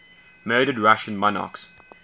murdered russian monarchs